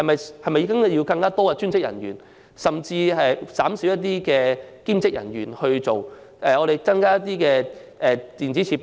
是否應該聘請更多專職人員，甚至減少兼職人員，而增加一些電子設備？